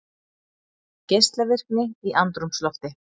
Geislavirkni í andrúmslofti